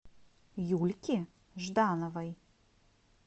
юльки ждановой